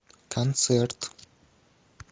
концерт